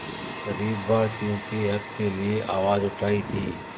ग़रीब भारतीयों के हक़ के लिए आवाज़ उठाई थी